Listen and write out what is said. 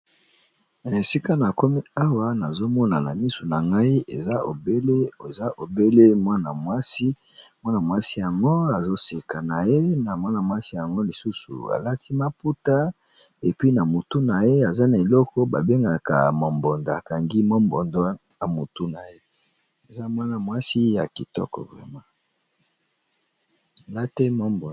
esika na komi awa nazomonana misu na ngai ewamwasimwana mwasi yango azoseka na ye na mwana-mwasi yango lisusu alati maputa epi na mutu na ye aza na eloko babengaka momboda kangi mombodo ya mutu nayei ya kitoko ma